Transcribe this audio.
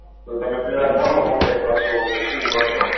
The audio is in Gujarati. તો તમે પેહલા કોનો contact કરશો કે શુ કરશો